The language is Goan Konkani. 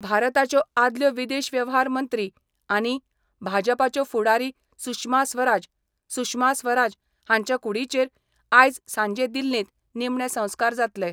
भारताच्यो आदल्यो विदेश व्यव्हार मंत्री आनी भाजपाच्यो फूडारी सुषमा स्वराज. सुषमा स्वराज हांच्या कुडीचेर आयज सांजे दिल्लींत निमणे संसकार जातले.